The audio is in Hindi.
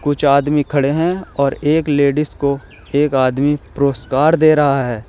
कुछ आदमी खड़े हैं और एक लेडिस को एक आदमी पुरस्कार दे रहा है।